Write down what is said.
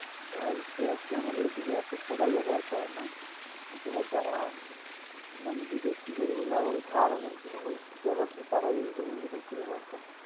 হ্যাঁ অবশ্যই আছে আমাদের দিকে আছে সবাই ব্যবহার করে না অথবা যারা বিদেশি গরু গুলো farm র গরুগুলো বেশি ব্যবহার করে তারাই এ গরু গুলো বেশি ব্যবহার করে